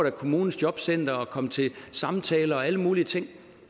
af kommunens jobcentre og skal komme til samtaler og alle mulige ting